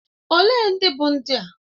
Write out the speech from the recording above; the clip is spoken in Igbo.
Olee ndị bụ ndị a?